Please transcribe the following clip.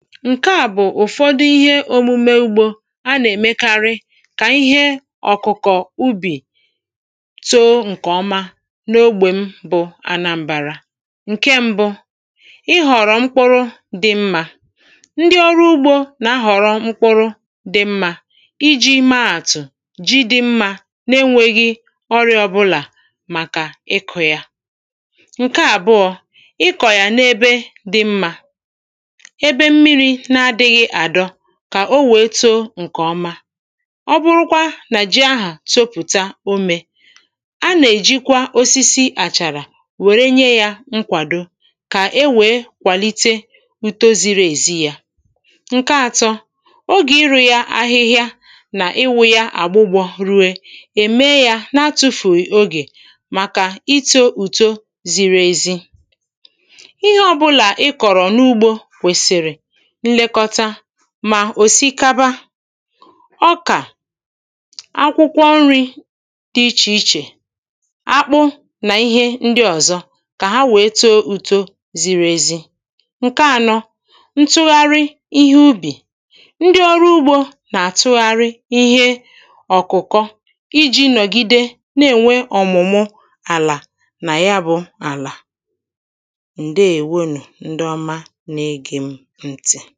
Ǹke à bụ̀ ụ̀fọdụ ihe ōmūmē ugbō a nà-èmekarị kà ihe ọ̀kụ̀kọ̀ ubì too ǹkèọma n’ogbè m bụ anam̄bara ǹke mbụ ịhọ̀rọ̀ mkpụrụ dị̄ mmā ndị ọrụ ugbō nà-ahọ̀rọ mkpụrụ dị̄ mmā ijī maàtụ̀ ji dị̄ mmā na-enwēghī ọrị̄ā ọbụlà màkà ịkụ̄ yā. ǹke àbụọ̄, ịkọ̀ yà n’ebe dị̄ mmā, ebe mmirī na-adị̄ghị̄ àdọ, kà o wèe too ǹkè ọma. ọ bụrụkwa nà ji ahà topùta omē, a nà-èjikwa osisi àchàrà wère nye yā nkwàdo kà ewèe kwàlite uto zīrī èzi yā. ǹke atọ, ogè ịrụ̄ yā ahịhịa nà ịwụ̄ yā àgbụgbọ rue, è mee yā na-atụ̄fụ̀ghị̀ ogè màkà itō ùto ziri ezi ihe ọbụlà ị kọ̀rọ̀ n’ugbō kwèsị̀rị̀ nlekọta ma òsikaba, ọkà, akwụkwọ nrī dị̄ ichè ichè, akpụ, nà ihe ndị ọ̀zọ kà ha wèe too uto ziri ezi. ǹke anọ, ntụgharị ihe ubì. ndị ọrụ ugbō nà-àtụgharị ihe ọ̀kụ̀kọ ijī nọ̀gide na-ènwe ọ̀mụ̀mụ àlà nà ya bụ̄ àlà. ǹdeèwonù ndị ọma na-ège m ntị̀.